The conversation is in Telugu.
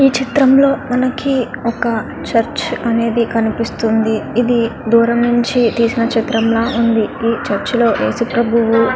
ఇక్కడమనకి చుర్చుహ్ ఉన్నదీ పిల్లు తెసి నటు ఉన్నారు.